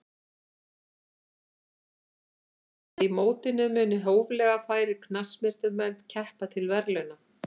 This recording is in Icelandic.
Stefnt er að því að í mótinu muni hóflega færir knattspyrnumenn keppa til verðlauna.